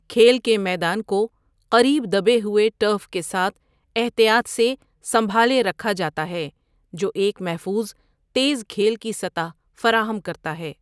کھیل کے میدان کو قریب دبے ہوئے ٹرف کے ساتھ احتیاط سے سنبھالے رکھا جاتا ہے جو ایک محفوظ، تیز کھیل کی سطح فراہم کرتا ہے۔